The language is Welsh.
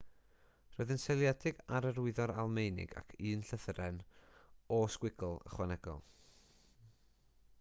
roedd yn seiliedig ar yr wyddor almaenig ac un llythyren õ/õ ychwanegol